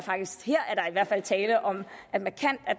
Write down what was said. der er tale om